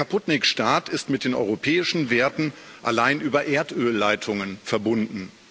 Der Kaputtnik Staat ist mit den europäischen Werten allein über Erdölleitungen verbunden.